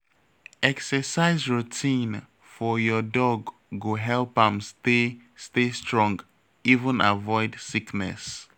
Exercise routine for your dog go help am stay stay strong even avoid sickness.